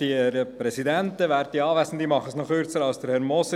Ich fasse mich noch kürzer als Herr Moser.